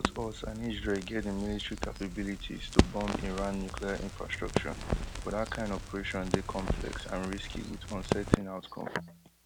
both us and israel get di military capabilities to bomb iran nuclear infrastructure but dat kain operation dey complex and risky wit uncertain outcome